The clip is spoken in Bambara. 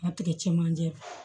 A tigɛ cɛmanjɛ